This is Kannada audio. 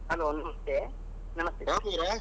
Hello ನಮಸ್ತೆ .